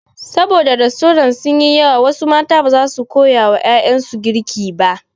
Sabo da rastorant sun yi yawa wasu mata baza su damu da koya wa ƴaƴansu girki ba.